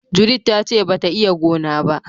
" Judith" ta ce ba ta iya gona ba.